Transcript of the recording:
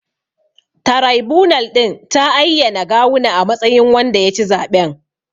Taraibunal ɗin ta ayyana Gawuna a matsayin wanda ya ci zaɓen.